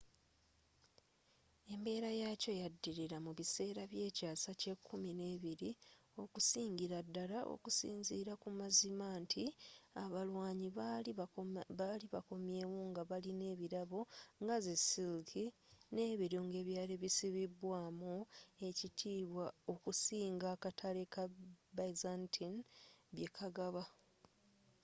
embeera yaakyo yadilira mu biseera by'ekyaasa eky'ekumi nebiri okusingila ddala okusinzira ku mazima nti abalwanyi bali bakomyewo nga balina ebirabo nga zi siliki n'ebirungo ebyali bisibwaamu ekitiibwa okusinga akatale ka byzantine byekagaba